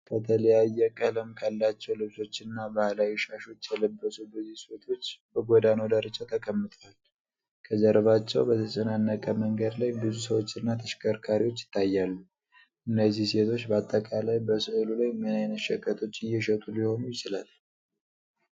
ከተለያየ ቀለም ካላቸው ልብሶችና ባህላዊ ሻሾች የለበሱ ብዙ ሴቶች በጎዳናው ዳርቻ ተቀምጠዋል፤ ከጀርባቸው በተጨናነቀ መንገድ ላይ ብዙ ሰዎችና ተሽከርካሪዎች ይታያሉ፤ እነዚህ ሴቶች በአጠቃላይ በሥዕሉ ላይ ምን ዓይነት ሸቀጦች እየሸጡ ሊሆን ይችላል?